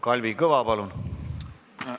Kalvi Kõva, palun!